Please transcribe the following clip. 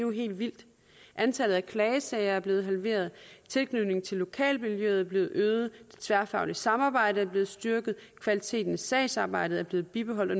helt vildt antallet af klagesager er blevet halveret tilknytningen til lokalmiljøet er blevet øget det tværfaglige samarbejde er blevet styrket og kvaliteten i sagsarbejdet er blevet bibeholdt og